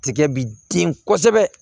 Tigɛ bi den kosɛbɛ